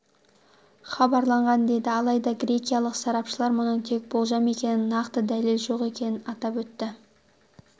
хабарланған еді алайда грекиялық сарапшылар мұның тек болжам екенін нақты дәлел жоқ екенін атап өтті